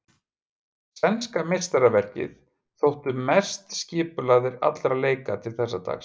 Sænska meistaraverkið þóttu best skipulagðir allra leika til þess dags.